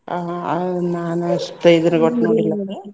ಹಾ ಆ ನಾನ್ ಅಷ್ಟೇ .